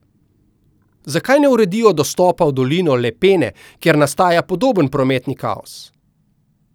Zakaj ne uredijo dostopa v dolino Lepene, kjer nastaja podoben prometni kaos?